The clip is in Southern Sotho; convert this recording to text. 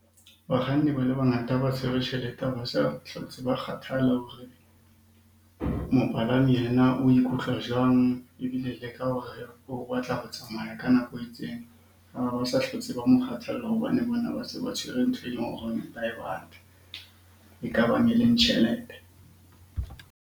Bakganni ba le bangata ha ba tshwere tjhelete ha ba sa hlotse ba kgathala hore mopalami yena o ikutlwa jwang? Ebile ke ka hore o batla ho tsamaya ka nako e itseng, ha ho sa hlotse ba ho mo kgathalla hobane bona ba se ba tshwere ntho e leng hore ba e batla. E ka bang e leng tjhelete.